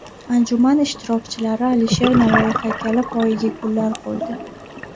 Anjuman ishtirokchilari Alisher Navoiy haykali poyiga gullar qo‘ydi.